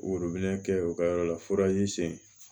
Worobinɛ kɛ u ka yɔrɔ la